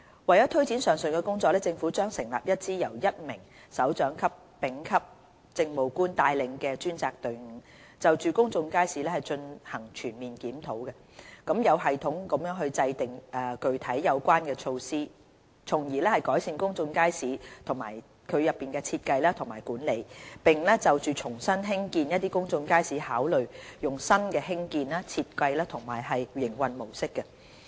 為推展上述的工作，政府將成立一支由1名首長級丙級政務官帶領的專責隊伍，就公眾街市進行全面檢討，有系統地制訂具體有關的措施，從而改善公眾街市的設計和管理，並就重新興建公眾街市考慮採用新的興建、設計和營運模式。